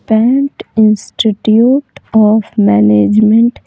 pant institute of management --